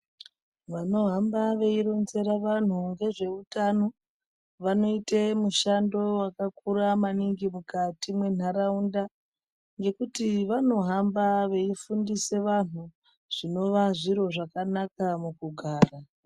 Vanohamba veironera vantu ngezveutano vanoite mushando vakakura maningi mukati mwentaraunda. Ngekuti vanohamba veifundise vantu zvinova zviro zvakanaka mukugara.